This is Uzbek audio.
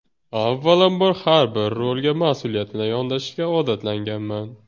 Avvalambor har bir rolga mas’uliyat bilan yondashishga odatlanganman.